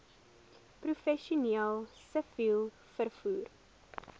professioneel siviel vervoer